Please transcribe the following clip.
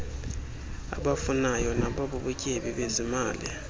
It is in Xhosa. abafunayo nabubutyebi bezimali